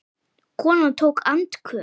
Konan tók andköf.